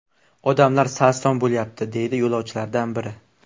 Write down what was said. Odamlar sarson bo‘lyapti”, deydi yo‘lovchilardan biri.